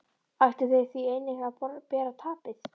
Ættu þeir því einnig að bera tapið.